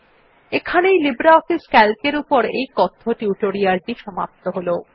এখানেই LibreOffice C A L C এর এই কথ্য টিউটোরিয়াল টি সমাপ্ত হল